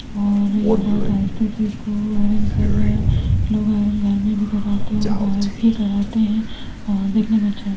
और ये बहुत आहिस्ते से इसको आयरन कर रहा है लोग आयरन घर में भी कराते है और बहार भी करवाते है और देखने में अच्छा है।